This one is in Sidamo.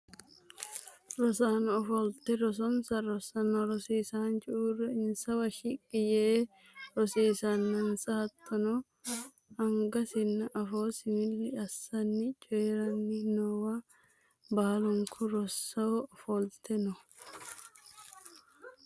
rosaano fofolte rosonsa rossanna rosiisaanchu uurre insawa shiqqi yee rosiisannansa hattono angasinna afoosi milli assanni coyeeranni noowa baalunku rosaano ofolte no